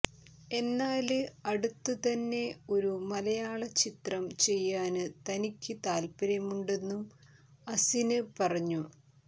എന്നാല് അടുത്തു തന്നെ ഒരു മലയാള ചിത്രം ചെയ്യാന് തനിക്ക് താത്പര്യമുണ്ടെന്നും അസിന് പറഞ്ഞു